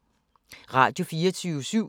Radio24syv